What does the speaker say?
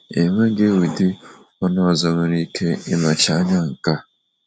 Enweghị ụdị ọṅụ ọzọ nwere ike ịnọchi anya nke a.